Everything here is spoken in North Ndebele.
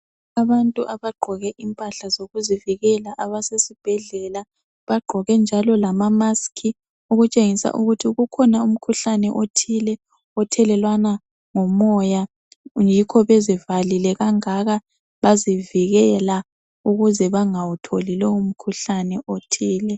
abantu abagqoke impahla zokuziviekla abasesibhedlela bagqoke njalo lama mask okutshengisa ukuthi ukhona umkhuhlane othile othelelwana ngomoya yikho bezivalile kangaka bazivikela ukuze bangawutholi lowo mkhuhlane othile